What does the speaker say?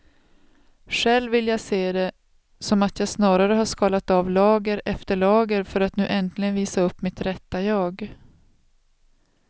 Själv vill jag se det som att jag snarare har skalat av lager efter lager för att nu äntligen visa upp mitt rätta jag.